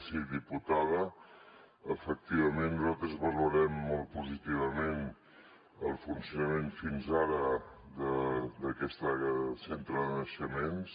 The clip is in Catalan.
sí diputada efectivament nosaltres valorem molt positivament el funcionament fins ara d’aquest centre de naixements